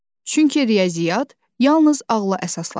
Çünki riyaziyyat yalnız ağla əsaslanır.